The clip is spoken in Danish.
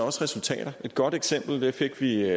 resultater et godt eksempel fik vi